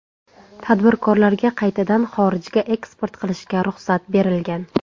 Tadbirkorlarga qaytaga xorijga eksport qilishga ruxsat berilgan.